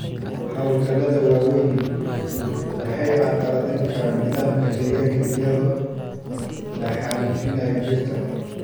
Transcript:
Hawlgallada waaweyni waxay carqaladayn karaan nidaamka deegaanka iyadoo la xaalufinayo dhirta.